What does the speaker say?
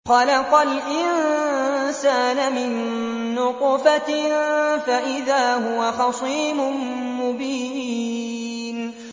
خَلَقَ الْإِنسَانَ مِن نُّطْفَةٍ فَإِذَا هُوَ خَصِيمٌ مُّبِينٌ